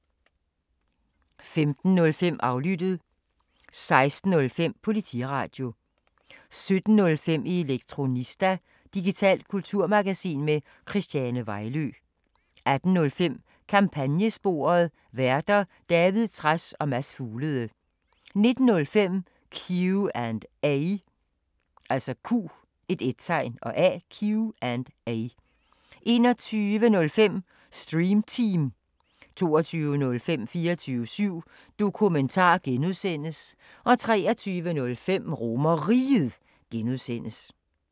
15:05: Aflyttet 16:05: Politiradio 17:05: Elektronista – digitalt kulturmagasin med Christiane Vejlø 18:05: Kampagnesporet: Værter: David Trads og Mads Fuglede 19:05: Q&A 21:05: Stream Team 22:05: 24syv Dokumentar (G) 23:05: RomerRiget (G)